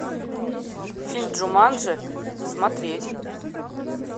фильм джуманджи смотреть